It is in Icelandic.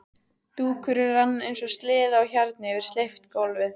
Dúkurinn rann eins og sleði á hjarni yfir steypt gólfið.